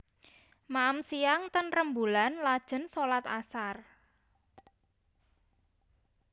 Maem siang ten Remboelan lajen solat asar